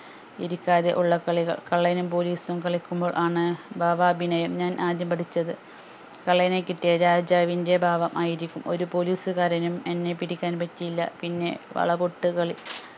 ഇരിക്കാതെ ഉള്ള കളികൾ കള്ളനും പോലീസും കളിക്കുമ്പോൾ ആണ് ഭാവാഭിനിയം ഞാൻ ആദ്യം പഠിച്ചത് കള്ളനെ കിട്ടിയ രാജാവിൻ്റെ ഭാവം ആയിരിക്കും ഒരു പോലീസുകാരനും എന്നെ പിടിക്കാൻ പറ്റിയില്ല പിന്നെ വളപൊട്ട് കളി